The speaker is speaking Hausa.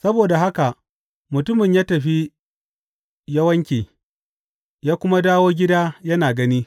Saboda haka mutumin ya tafi ya wanke, ya kuma dawo gida yana gani.